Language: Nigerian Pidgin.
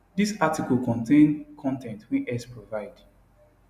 dis article contain con ten t wey x provide